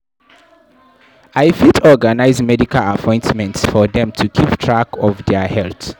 I fit organize medical appointments for dem to keep track of their health.